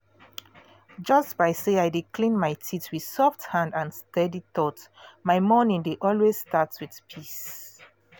just by say i dey clean my teeth with soft hand and steady thought my morning dey always start wit peace